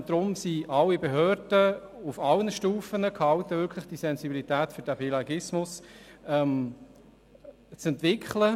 Deshalb sind alle Behörden auf allen Stufen gehalten, eine gewisse Sensibilität für die Zweisprachigkeit zu entwickeln.